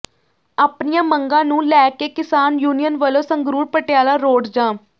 ਆਪਣੀਆਂ ਮੰਗਾਂ ਨੂੰ ਲੈ ਕੇ ਕਿਸਾਨ ਯੂਨੀਅਨ ਵਲੋਂ ਸੰਗਰੂਰ ਪਟਿਆਲਾ ਰੋਡ ਜਾਮ